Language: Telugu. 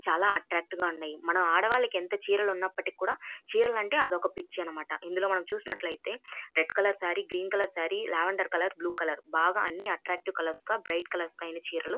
చాల అట్ట్రాక్టీవ్ గ ఉన్నాయ్ మన ఆడవాళ్లకు ఎంత చీరలు ఉన్నాప్పటికీ కూడా చీరలంటే అదొక పిచ్చి అన్నమాట ఇందులో మనం చూసినట్లైతే red colour sari green colour sari lavender colour blue colour బాగా అన్ని అట్ట్రాక్టీవ్ కలర్స్ గ బ్రైట్ కలర్స్ గ ఐన చీరలు --